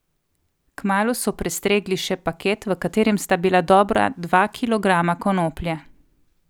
Kmalu so prestregli še paket, v katerem sta bila dobra dva kilograma konoplje.